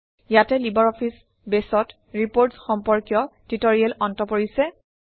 ইয়াতে LibreOffice বেছত reports সম্পৰ্কীয় ট্যুটৰিয়েলৰ অন্ত পৰিছে